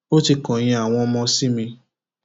ó ti kọyìn àwọn ọmọ sí mi